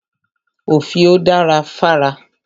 Òfìò da fára.